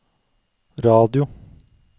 radio